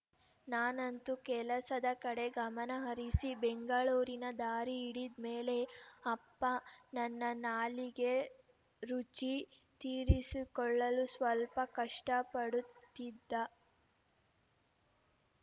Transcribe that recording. ನಾನಂತು ಕೆಲ್ಸದ ಕಡೆಗೆ ಗಮನ ಹರಿಸಿ ಬೆಂಗಳೂರಿನ ದಾರಿ ಹಿಡಿದ್ಮೇಲೆ ಅಪ್ಪ ನನ್ನ ನಾಲಿಗೆ ರುಚಿ ತೀರಿಸಿಕೊಳ್ಳಲು ಸ್ವಲ್ಪ ಕಷ್ಟಪಡುತ್ತಿದ್ದ